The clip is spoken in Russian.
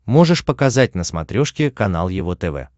можешь показать на смотрешке канал его тв